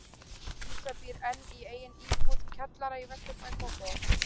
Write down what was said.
Lísa býr enn í eigin íbúð, kjallara í vesturbæ Kópavogs.